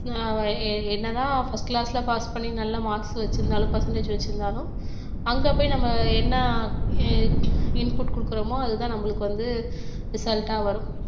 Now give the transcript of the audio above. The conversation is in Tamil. என்னதான் first class ல pass பண்ணி நல்ல marks வச்சிருந்தாலும் percentage வச்சிருந்தாலும் அங்க போய் நம்ம என்ன i~ input கொடுக்கிறோமோ அதுதான் நம்மளுக்கு வந்து result ஆ வரும்